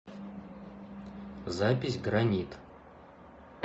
запись гранит